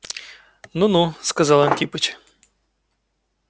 ну ну сказал антипыч